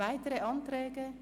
Gibt es weitere Anträge?